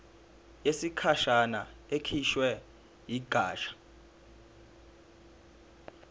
yesikhashana ekhishwe yigatsha